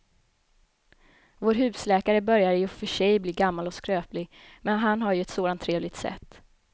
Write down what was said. Vår husläkare börjar i och för sig bli gammal och skröplig, men han har ju ett sådant trevligt sätt!